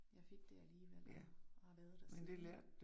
Jeg fik det alligevel og har været der siden